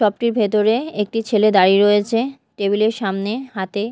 club -টির ভেতরে একটি ছেলে দাঁড়িয়ে রয়েছে টেবিল -এর সামনে হাতে--